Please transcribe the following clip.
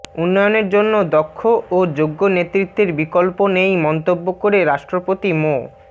উন্নয়নের জন্য দক্ষ ও যোগ্য নেতৃত্বের বিকল্প নেই মন্তব্য করে রাষ্ট্রপতি মো